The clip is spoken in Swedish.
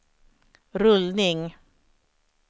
rullning